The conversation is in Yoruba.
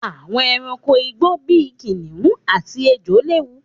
Àwọn ẹranko igbó bí i kìnnìún àti ejò léwu.